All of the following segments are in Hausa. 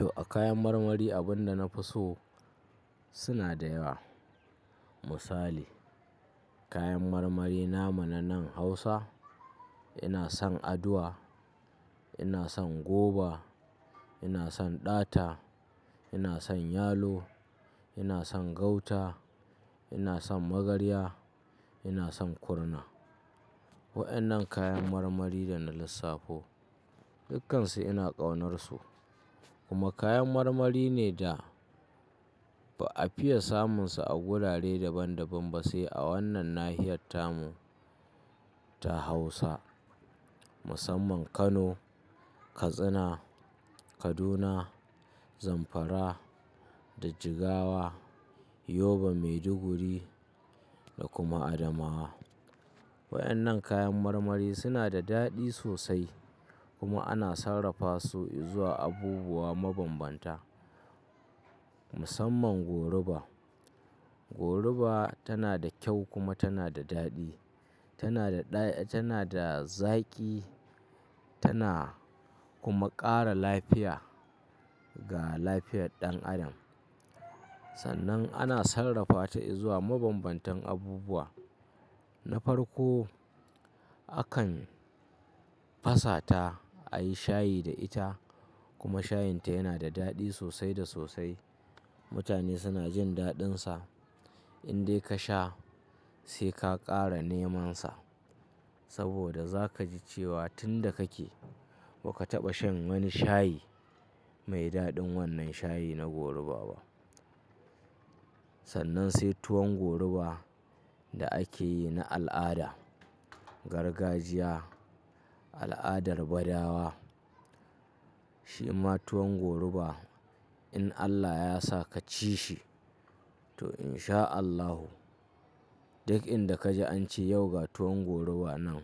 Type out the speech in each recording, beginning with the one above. To, a kayan marmari abin da na fi so suna da yawa. Misali, kayan marmari na mu nanan Hausa. Ina son aduwa, ina son goba, ina son ɗata, ina son yalo, ina son gauta, ina son magarya, ina son kurna. Waɗannan kayan marmari da na lissafo dukkansu ina ƙaunarsu. Kuma kayan marmari ne da ba a fiya samunsu a wurare daban-daban ba sai a wannan nahiyar ta mu ta Hausa. Musamman Kano, Katsina, Kaduna, Zamfara da Jigawa, Yobe, Maiduguri da kuma Adamawa. Waɗannan kayan marmari suna da daɗi sosai kuma ana sarrafa su izuwa abubuwa mabanbanta musamman goruba. Goruba tana da kyau kuma tana da daɗi. Tana da zaƙi tana kuma ƙara lafiya ga lafiyar ɗan adam. Sannan ana sarrafata izuwa mabanbantan abubuwa. Na farko, akan fasata a yi shayi da ita kuma shayinta yana da daɗi sosai da sosai. Mutane suna jin daɗinsa. In dai ka sha sai ka ƙara nemansa saboda za ka ji cewa tun da kake ba ka taɓa shan wani shayi mai daɗin wannan shayi na goruba ba. Sannan sai tuwon goruba da ake yi na al'ada. Gargajiya, al'adar Badawa. Shi ma tuwon goruba in Allah ya sa ka ci shi to in sha Allahu, duk inda ka ji an ce yau ga tuwon goruba nan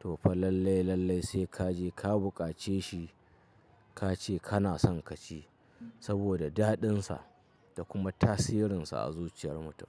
to fa lallai, lallai sai ka je ka buƙace shi. Ka ce kana son ka ci saboda daɗinsa da kuma tasirinsa a zuciyar mutum.